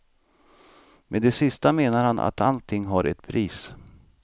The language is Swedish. Med det sista menar han att allting har ett pris.